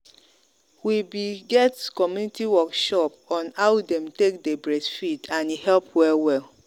we be get community workshop on how them take day breastfeed and e help well well.